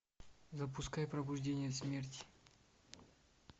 запускай пробуждение смерти